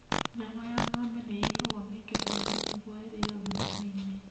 Nyama ya ng'ombe nĩ ĩigagwo mĩkebe-inĩ nĩguo ĩrĩo thutha-inĩ.